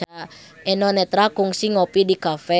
Eno Netral kungsi ngopi di cafe